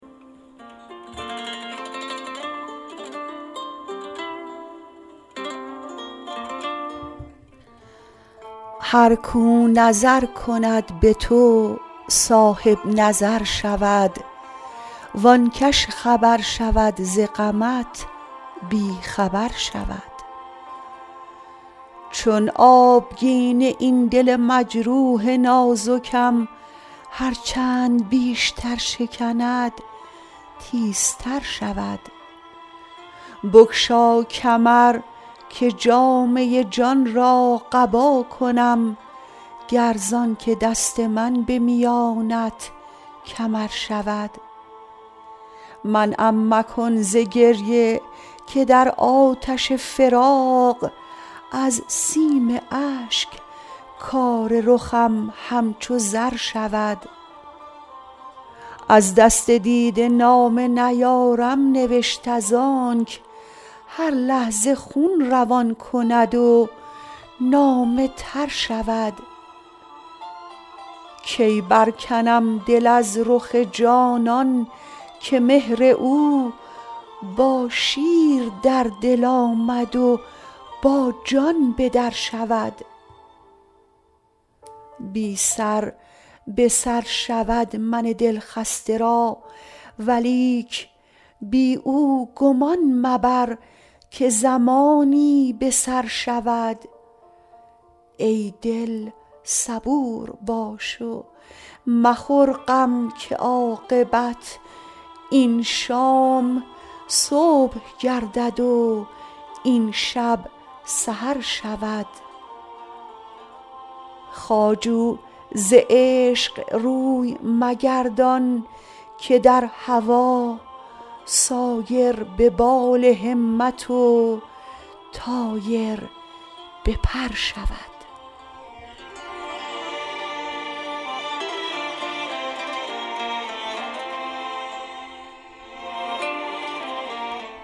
هر کو نظر کند به تو صاحب نظر شود وانکش خبر شود ز غمت بی خبر شود چون آبگینه این دل مجروح نازکم هر چند بیشتر شکند تیزتر شود بگشا کمر که جامه ی جان را قبا کنم گر زانک دست من به میانت کمر شود منعم مکن ز گریه که در آتش فراق از سیم اشک کار رخم همچو زر شود از دست دیده نامه نیارم نوشت از آنک هر لحظه خون روان کند و نامه تر شود کی بر کنم دل از رخ جانان که مهر او با شیر در دل آمد و با جان به در شود بی سر به سر شود من دلخسته را ولیک بی او گمان مبر که زمانی به سر شود ای دل صبور باش و مخور غم که عاقبت این شام صبح گردد و این شب سحر شود خواجو ز عشق روی مگردان که در هوا سایر به بال همت و طایر به پر شود